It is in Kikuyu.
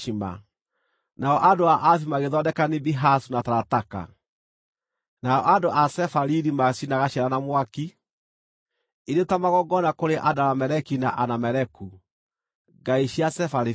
nao andũ a Aavi magĩthondeka Nibihazu na Tarataka, nao andũ a Sefariri maacinaga ciana na mwaki irĩ ta magongona kũrĩ Adarameleki na Anameleku, ngai cia Sefarivaimu.